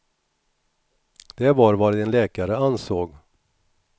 Det var vad en läkare ansåg.